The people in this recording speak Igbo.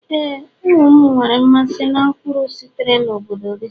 éè, ụmụ m nwere mmasị na mkpụrụ sitere na obodo gị.